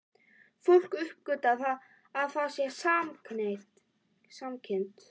Fólk uppgötvar að það er samkynhneigt.